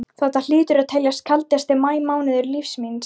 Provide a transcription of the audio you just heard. Þetta hlýtur að teljast kaldasti maí mánuður lífs míns.